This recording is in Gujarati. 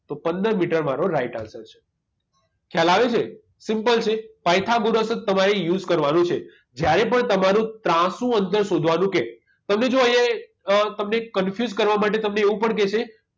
તો પંદર મીટર મારો right answer છે ખ્યાલ આવે છે simple છે પાયથાગોરસ જ તમારે use કરવાનો છે જ્યારે પણ તમારું ત્રાસુ અંતર શોધવાનું કે તમને જો અહીંયા અ તમને confuse કરવા માટે તમને એવું પણ કહેશે